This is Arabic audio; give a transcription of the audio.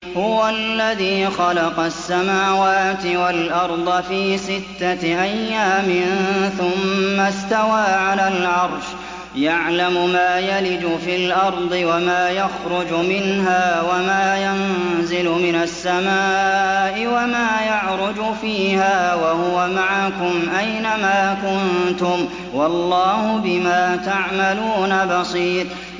هُوَ الَّذِي خَلَقَ السَّمَاوَاتِ وَالْأَرْضَ فِي سِتَّةِ أَيَّامٍ ثُمَّ اسْتَوَىٰ عَلَى الْعَرْشِ ۚ يَعْلَمُ مَا يَلِجُ فِي الْأَرْضِ وَمَا يَخْرُجُ مِنْهَا وَمَا يَنزِلُ مِنَ السَّمَاءِ وَمَا يَعْرُجُ فِيهَا ۖ وَهُوَ مَعَكُمْ أَيْنَ مَا كُنتُمْ ۚ وَاللَّهُ بِمَا تَعْمَلُونَ بَصِيرٌ